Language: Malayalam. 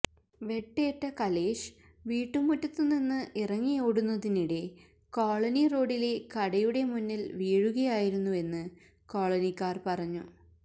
വെട്ടേറ്റ കലേഷ് വീട്ടുമുറ്റത്ത് നിന്ന് ഇറങ്ങി ഓടുന്നതിനിടെ കോളനി റോഡിലെ കടയുടെ മുന്നില് വീഴുകയായിരുന്നുവെന്ന് കോളനിക്കാര് പറഞ്ഞു